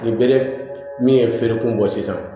Ni bere min ye feerekun bɔ sisan